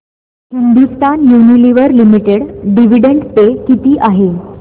Hindustan Unilever Limited dividend pay किती आहे